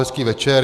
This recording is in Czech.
Hezký večer.